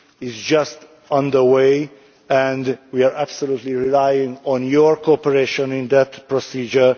It is on its way and we are absolutely relying on your cooperation on that procedure.